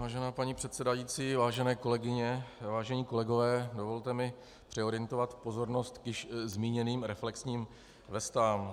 Vážená paní předsedající, vážené kolegyně, vážení kolegové, dovolte mi přeorientovat pozornost k již zmíněným reflexním vestám.